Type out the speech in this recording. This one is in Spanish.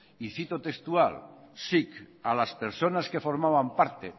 y cito textual sic a las personas que formaban parte